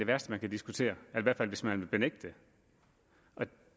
værste man kan diskutere i hvert fald hvis man vil benægte dem